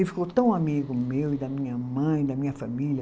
Ele ficou tão amigo meu e da minha mãe, da minha família.